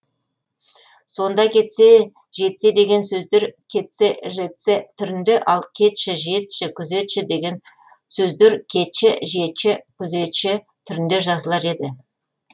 сонда кетсе жетсе деген сөздер кеце жеце түрінде ал кетші жетші күзетші деген сөздер кечі жечі күзечі түрінде жазылар еді